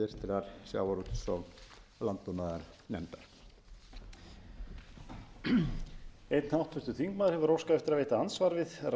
ég óska eftir að að lokinni umræðu hér verði því vísað til háttvirtrar sjávarútvegs og landbúnaðarnefndar